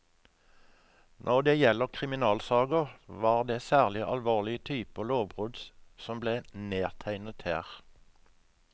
Når det gjelder kriminalsaker, var det særlig alvorlige typer lovbrudd som ble nedtegnet her.